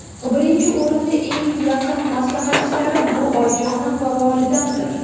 Birinchi o‘rinda eng yaqin maslahatchilarim, bu oyijonim va volidamdir.